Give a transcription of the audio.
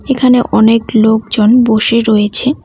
এখানে অনেক লোকজন বসে রয়েছে।